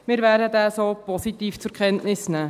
Wir werden ihn so positiv zur Kenntnis nehmen.